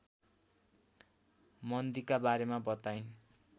मन्दीका बारेमा बताइन्